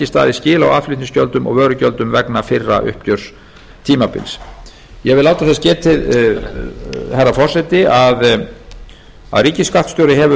staðið skil á aðflutningsgjöldum og vörugjöldum vegna fyrra uppgjörstímabils ég vil láta þess getið herra forseti að ríkisskattstjóri hefur